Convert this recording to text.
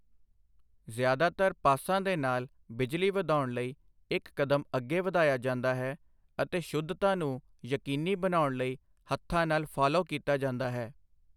ਜ਼ਿਆਦਾਤਰ ਪਾਸਾਂ ਦੇ ਨਾਲ ਬਿਜਲੀ ਵਧਾਉਣ ਲਈ ਇੱਕ ਕਦਮ ਅੱਗੇ ਵਧਾਇਆ ਜਾਂਦਾ ਹੈ ਅਤੇ ਸ਼ੁੱਧਤਾ ਨੂੰ ਯਕੀਨੀ ਬਣਾਉਣ ਲਈ ਹੱਥਾਂ ਨਾਲ ਫਾਲੋ ਕੀਤਾ ਜਾਂਦਾ ਹੈ।